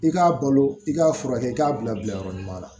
I k'a balo i k'a furakɛ i k'a bila bila yɔrɔ ɲuman na